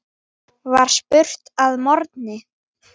var spurt að morgni.